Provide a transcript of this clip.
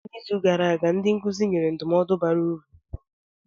N'izu gara aga, ndị nkụzi nyere ndụmọdụ bara uru.